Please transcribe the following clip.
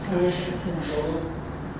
Peşmanam.